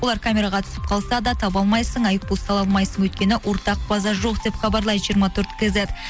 олар камераға түсіп қалса да таба алмайсың айыппұл сала алмайсың өйткені ортақ база жоқ деп хабарлайды жиырма төрт кейзет